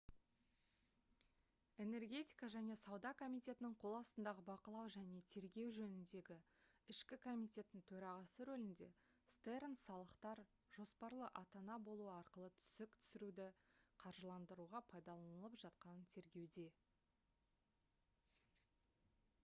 энергетика және сауда комитетінің қол астындағы бақылау және тергеу жөніндегі ішкі комитеттің төрағасы рөлінде стернс салықтар «жоспарлы ата-ана болу» арқылы түсік түсіруді қаржыландыруға пайдаланылып жатқанын тергеуде